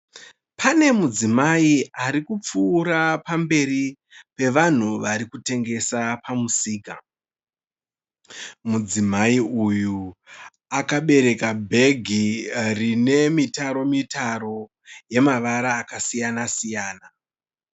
Pane mudzimai ari kupfuura pamberi pevanhu vari kutengesa pamusika. Mudzimai uyu akabereka bhegi rine mitaro mitaro yemavara akasiyana siyana.